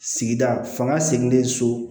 Sigida fanga sigilen so